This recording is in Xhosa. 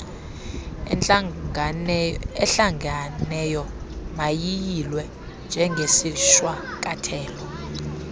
ehlanganeyo mayiyilwe njengesishwankathelo